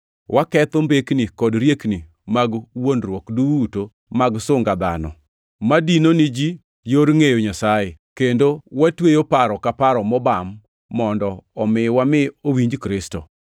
Waketho mbekni kod riekni mag wuondruok duto mag sunga dhano, ma dino ni ji yor ngʼeyo Nyasaye, kendo watweyo paro ka paro mobam, mondo omi wami owinj Kristo.